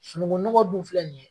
Sunungu nɔgɔn dun filɛ nin ye